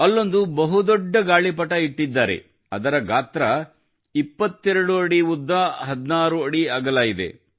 ಅಲ್ಲೊಂದು ಬಹುದೊಡ್ಡ ಗಾಳಿಪಟ ಇಟ್ಟಿದ್ದಾರೆ ಅದರ ಗಾತ್ರ 22 ಅಡಿ ಉದ್ದ 16 ಅಡಿ ಅಗಲ ಇದೆ